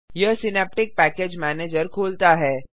यह synaptic package manager खोलता है